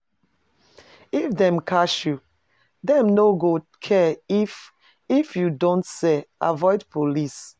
If dem catch you, dem no go care if if you don sell, avoid police.